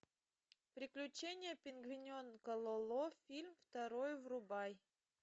приключения пингвиненка лоло фильм второй врубай